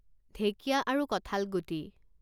ঢেঁকীয়া আৰু কঠালগুটি